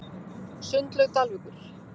Sundlaug Dalvíkur